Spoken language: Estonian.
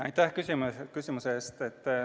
Aitäh küsimuse eest!